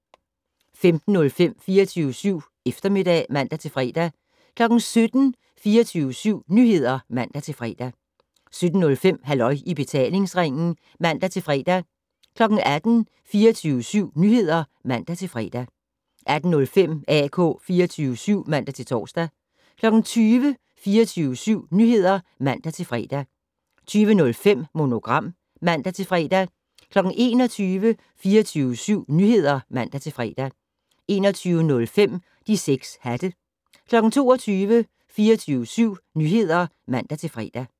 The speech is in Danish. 15:05: 24syv Eftermiddag (man-fre) 17:00: 24syv Nyheder (man-fre) 17:05: Halløj i betalingsringen (man-fre) 18:00: 24syv Nyheder (man-fre) 18:05: AK 24syv (man-tor) 20:00: 24syv Nyheder (man-fre) 20:05: Monogram (man-fre) 21:00: 24syv Nyheder (man-fre) 21:05: De 6 hatte 22:00: 24syv Nyheder (man-fre)